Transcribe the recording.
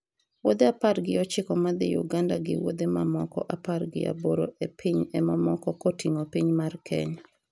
wuodhe apar gi ochiko madhi Uganda gi wuodhe mamoko apar gi aboro e pinj emamoko koting'o piny mar Kenya